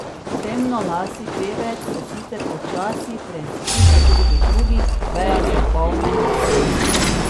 Temnolasi pevec se sicer počasi preizkuša tudi v drugih vejah zabavne industrije.